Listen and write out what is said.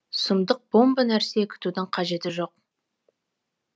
иә сұмдық бомба нәрсе күтудің қажеті жоқ